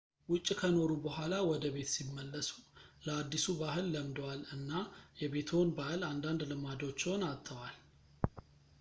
ውጭ ከኖሩ በኋላ ወደቤት ሲመለሱ ለአዲሱ ባህል ለምደዋል እና የቤትዎን ባህል አንዳንድ ልማዶችዎን አጥተዋል